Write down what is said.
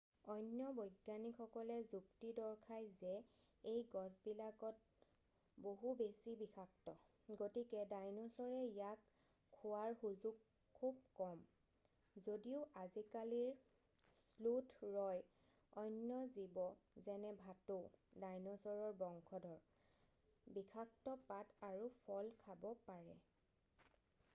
অন্য বৈজ্ঞানিকসকলে যুক্তি দৰ্শাই যে এই গছবিলাক বহুত বেছি বিষাক্ত গতিকে ডাইনছৰে ইয়াক খোৱাৰ সুযোগ খুব কম যদিও আজিকালিৰ শ্লোথ ৰয় অন্য জীৱে যেনে ভাটৌ ডাইনছৰৰ বংশধৰ বিষাক্ত পাত আৰু ফল খাব পাৰে।